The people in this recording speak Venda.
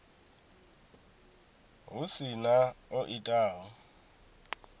hu si na o itaho